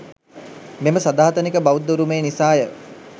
මෙම සදාතනික බෞද්ධ උරුමය නිසාය.